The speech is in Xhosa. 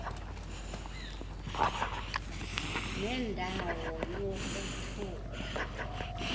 nenda wo yokuthukwa